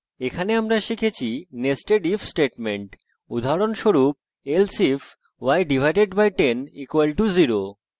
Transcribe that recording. in tutorial আমরা শিখেছি nested if statement